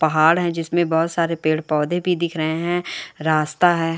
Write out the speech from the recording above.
पहाड़ है जिसमें बहुत सारे पेड़-पौधे भी दिख रहे हैं रास्ता है।